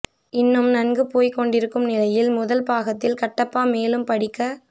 இன்னும் நன்கு போய்க்கொண்டிருக்கும் நிலையில் முதல் பாகத்தில் கட்டப்பா மேலும் படிக்க